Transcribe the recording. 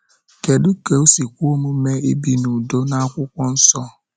Kedu ka o si kwe omume ibi n’udo na Akwụkwọ Nsọ?